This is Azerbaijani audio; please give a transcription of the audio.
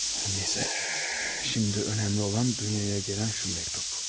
Hər nəysə, şimdi önəmli olan dünyaya gələn şu məktup.